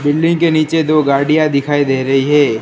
Building के नीचे दो गाड़ियां दिखाई दे रही हैं।